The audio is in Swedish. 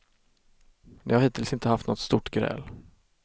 De har hittills inte haft något stort gräl.